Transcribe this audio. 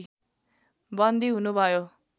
बन्दी हुनु भयो